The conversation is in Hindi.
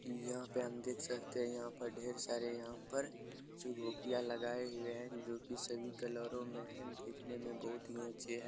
यहाँ पे हम देख सकते हैं यहाँ पर ढेर सारे यहाँ पर चुकभुकिया लगाए हुए है जो कि सभी कलरों मे है दिखने में बहुत ही अच्छे है।